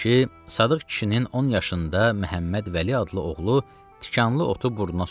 Sadıq kişinin on yaşında Məhəmməd Vəli adlı oğlu tikanlı otu burnuna soxur.